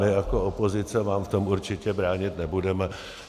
My jako opozice vám v tom určitě bránit nebudeme.